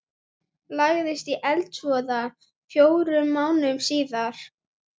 Fræðigreinin siðfræði hefur verið vettvangur karla lengst af.